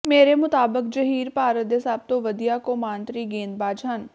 ਮੇਰੇ ਮੁਤਾਬਕ ਜਹੀਰ ਭਾਰਤ ਦੇ ਸਭ ਤੋਂ ਵਧੀਆ ਕੌਮਾਂਤਰੀ ਗੇਂਦਬਾਜ਼ ਹਨ